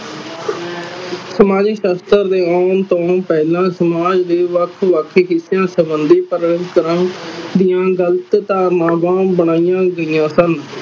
ਸਮਾਜਿਕ ਸਾਸਤ੍ਰ ਦੇ ਆਉਣ ਤੋਂ ਪਹਿਲਾਂ ਸਮਾਜ ਦੇ ਵੱਖ ਵੱਖ ਹਿਸਿਆਂ ਸੰਬੰਧੀ ਕਈ ਤਰ੍ਹਾਂ ਗ਼ਲਤ ਧਾਰਨਾਵਾਂ ਬਨਾਇਆ ਗਈਆ ਸਨ